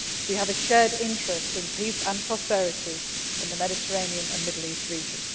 pluralist. We have a shared interest in peace and prosperity in the Mediterranean and Middle East